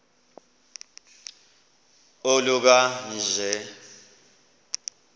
oluka ka njl